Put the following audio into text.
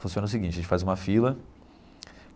Funciona o seguinte, a gente faz uma fila.